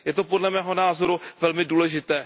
Je to, podle mého názoru, velmi důležité.